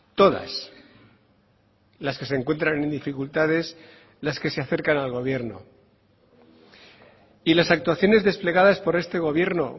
todas las que se encuentran en dificultades las que se acercan al gobierno y las actuaciones desplegadas por este gobierno